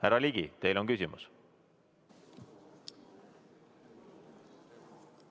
Härra Ligi, teil on küsimus?